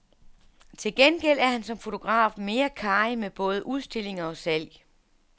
Til gengæld er han som fotograf mere karrig med både udstillinger og salg.